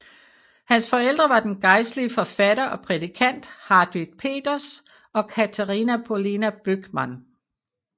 Hans forældre var den gejstlige forfatter og prædikant Hartwig Peters og Catharina Paulina Böckmann